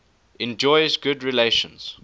enjoys good relations